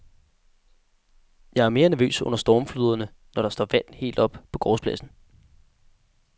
Jeg er mere nervøs under stormfloderne, når der står vand helt op på gårdspladsen.